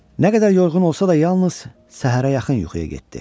Nə qədər yorğun olsa da, yalnız səhərə yaxın yuxuya getdi.